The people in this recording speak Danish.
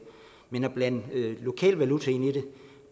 men at blande lokal valuta ind i det